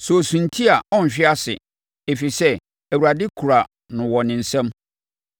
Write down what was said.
Sɛ ɔsunti a ɔrenhwe ase, ɛfiri sɛ Awurade kura no wɔ ne nsam.